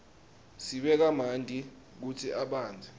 sibeka manti kutsi abandze